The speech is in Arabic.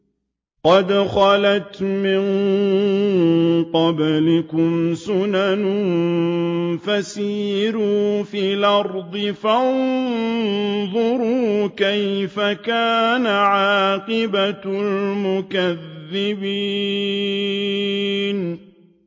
قَدْ خَلَتْ مِن قَبْلِكُمْ سُنَنٌ فَسِيرُوا فِي الْأَرْضِ فَانظُرُوا كَيْفَ كَانَ عَاقِبَةُ الْمُكَذِّبِينَ